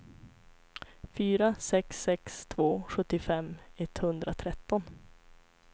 fyra sex sex två sjuttiofem etthundratretton